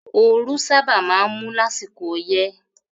Ooru sábà máa ń mú lásìkò ọyẹ́